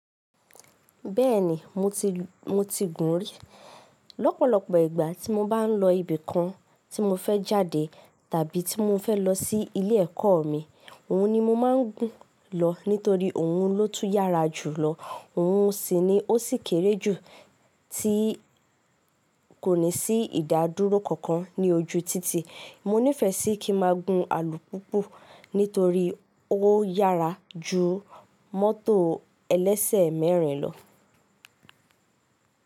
Bẹ́ẹ̀ni mo ti, mo ti gùn rí. Lọ́pọ̀lọ́pọ̀ ìgbà tí mo bá ń lọ ibì kan tí mo fẹ́ jáde tàbí tí mo fẹ́ lọ sí ilé ẹ̀kọ́ mi, òhun ni mo máa ń gùn lọ nítorí òhun ló tún yára jùlọ. Òhun sì ni ó sì kéré jù tí kò ní sí ìdádúró kankan ní ojú títì. Mo nífẹ̀ẹ́ sí kí ma gùn alùpùpù nítorí o yára ju mótò ẹlẹ́sẹ̀ mẹ́rin lọ.